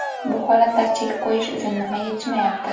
Bu holatlar chek qo‘yish uchun nima yetishmayapti?